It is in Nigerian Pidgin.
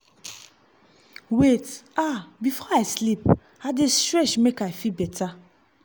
wait- ah before i sleep i dey stretch make i feel better.